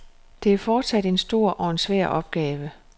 Det er fortsat en stor og en svær opgave.